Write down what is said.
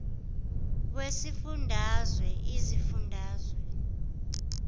wesifun dazwe izifundazwe